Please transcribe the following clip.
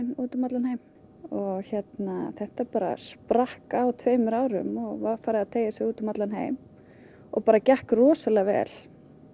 út um allan heim og þetta bara sprakk á tveimur árum og var farið að teygja sig út um allan heim og bara gekk rosalega vel